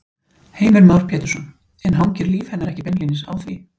Heimir Már Pétursson: En hangir líf hennar ekki beinlínis á því?